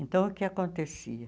Então o que acontecia?